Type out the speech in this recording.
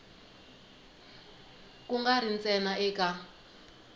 ku nga ri ntsena eka